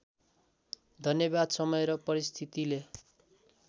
धन्यवाद समय र परिस्थितिले